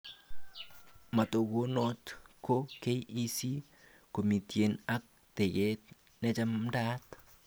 Matokunot ko KEC komitien ak teket nechamdaat